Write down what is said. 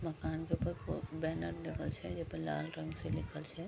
मकान के ऊपर बैनर लागल छै जे पे लाल रंग से लिखल छै।